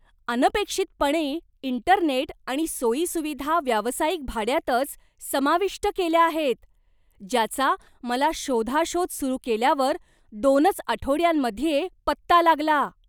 अनपेक्षितपणे, इंटरनेट आणि सोयी सुविधा व्यावसायिक भाड्यातच समाविष्ट केल्या आहेत, ज्याचा मला शोधाशोध सुरु केल्यावर दोनच आठवड्यांमध्ये पत्ता लागला.